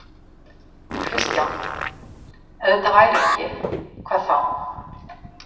Kristján: Ef þetta væri ekki, hvað þá?